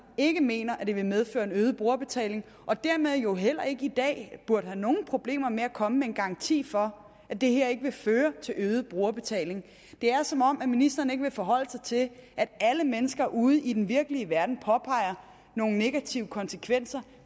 ikke mener at det vil medføre en øget brugerbetaling og dermed jo heller ikke i dag burde have nogen problemer med at komme med en garanti for at det her ikke vil føre til øget brugerbetaling det er som om ministeren ikke vil forholde sig til at alle mennesker ude i den virkelige verden påpeger nogle negative konsekvenser